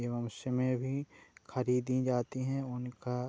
एवं उसमे भी खरीदी जाती है उनका --